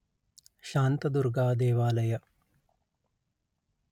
ಶಾಂತದುರ್ಗಾ ದೇವಾಲಯ